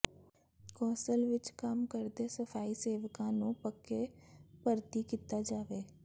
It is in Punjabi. ਕੌ ਾਸਲ ਵਿਚ ਕੰਮ ਕਰਦੇ ਸਫ਼ਾਈ ਸੇਵਕਾਂ ਨੂੰ ਪੱਕੇ ਭਰਤੀ ਕੀਤਾ ਜਾਵੇ